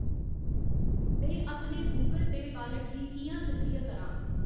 में अपने Google Pay wallet गी कि'यां सक्रिय करां ?